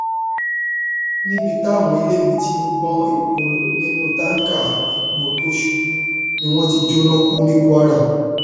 níbi táwọn eléyìí ti ń gbọn epo nínú táǹkà epo tó ṣubú ni wọn ti jóná kú ní kwara